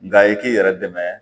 Nka i k'i yɛrɛ dɛmɛ